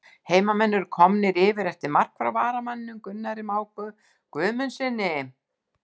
HEIMAMENN ERU KOMNIR YFIR EFTIR MARK FRÁ VARAMANNINUM GUNNARI MÁ GUÐMUNDSSYNI!!